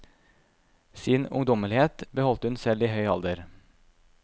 Sin ungdommelighet beholdt hun selv i høy alder.